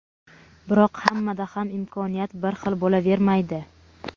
Biroq hammada ham imkoniyat bir xil bo‘lavermaydi.